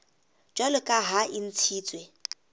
jwalo ka ha le ntshitswe